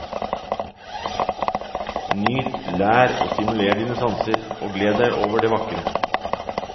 Nyt, lær, og stimuler dine sanser og gled deg over det vakre.